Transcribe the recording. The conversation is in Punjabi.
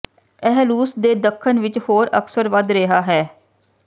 ਇਹ ਰੂਸ ਦੇ ਦੱਖਣ ਵਿੱਚ ਹੋਰ ਅਕਸਰ ਵਧ ਰਿਹਾ ਹੈ